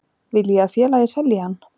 Vil ég að félagið selji hann?